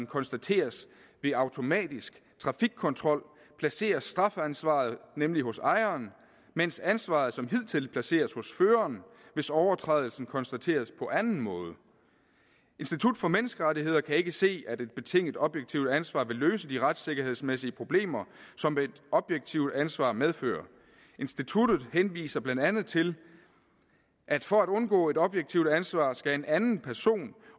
konstateres ved automatisk trafikkontrol placeres strafansvaret nemlig hos ejeren mens ansvaret som hidtil placeres hos føreren hvis overtrædelsen konstateres på anden måde institut for menneskerettigheder kan ikke se at et betinget objektivt ansvar vil løse de retssikkerhedsmæssige problemer som et objektivt ansvar medfører instituttet henviser blandt andet til at for at undgå objektivt ansvar skal en anden person